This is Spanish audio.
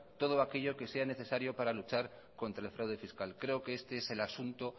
todo aquello que sea necesario para luchar contra el fraude fiscal creo que este es el asunto